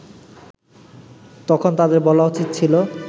তখন তাদের বলা উচিত ছিল